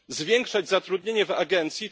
Zwiększać zatrudnienie w Agencji.